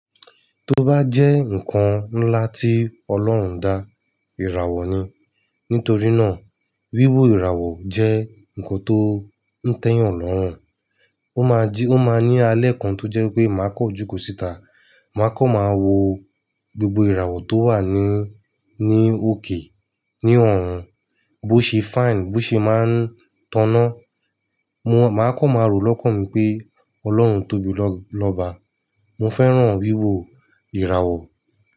Tó bá jẹ́ ǹkan ńlá tí Ọlọ́run dá, ìràwọ̀ ni. Nítorí náà, wíwo ìràwọ̀ jẹ́ ǹkan tó ń tẹ́yàn lọ́rùn. Ó ma jí, ó máa ní alẹ́ kan tó jẹ́ pé màá kọ̀ jú kọ̀ síta, màá kọ̀ máa wo gbogbo ìràwọ̀ tó wà ní, ní òkè, ní ọ̀run. Bó ṣe fine, bó ṣe máa ń tọ́nà. Mo, màá kọ̀ máa rò lọ́kàn mi pé Ọlọ́run tóbi lọ́ba. Mo fẹ́ràn wíwo ìràwọ̀